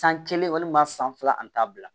San kelen walima san fila ani